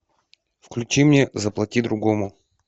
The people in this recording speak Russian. включи мне заплати другому